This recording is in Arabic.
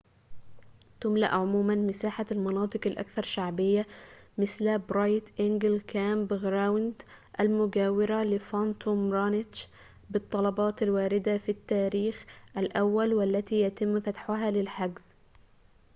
تُملأ عموماً مساحة المناطق الأكثر شعبية مثل برايت إنجل كامب غراوند المجاورة لفانطوم رانتش بالطلبات الواردة في التاريخ الأول والتي يتم فتحها للحجز